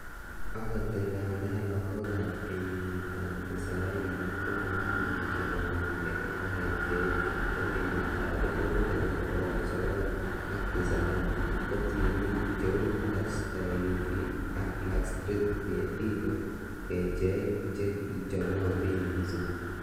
Agot ingandan logok ab kenyitab tisaini komaimuch konamge ak kecheichu, en kenyitab 1990,ko tienik che u SWV ak Black street Ngetik ko kecheik che kichomotin missing.